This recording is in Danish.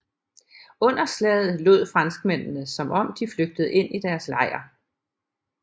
Under slaget lod franskmændene som om de flygtede ind i deres lejr